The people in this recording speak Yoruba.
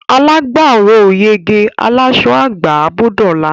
Alágbàró ò yege; aláṣọ á gbà á bó dọ̀la.